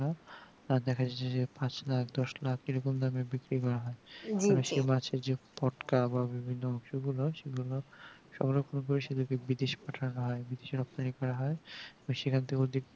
আর দেখা যাচ্ছে যে পাঁচ লাখ দশ লাখ এরকম দামে বিক্রি করা হয় মাছের যে পটকা বা বিভিন্ন অংশ গুলো সেগুলো সব রকম করে সেগুলো কে বিদেশ পাঠানো হয় বিচে রক্তানি করা হয় এবং সেখান থেকেও